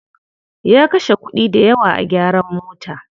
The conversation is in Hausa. Ya kashe kuɗi dayawa a gyaran mota.